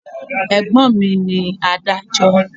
Ẹ̀gbọ́n mi ní adájọ́.